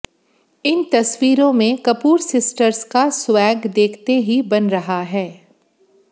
इन तस्वीरों में Kapoor sisters swag स्वैग देखते ही बन रहा है